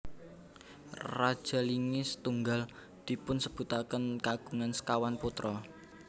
Raja Linge setunggal dipunsebutaken kagungan sekawan putra